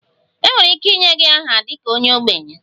Enwere ike inye gị aha dị ka onye ogbenye?